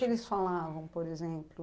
O que eles falavam, por exemplo?